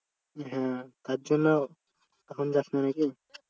হ্যাঁ তার জন্য এখন যাস না নাকি?